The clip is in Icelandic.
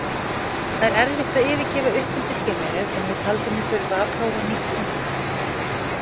Það er erfitt að yfirgefa uppeldisfélagið en ég taldi mig þurfa að prófa nýtt umhverfi.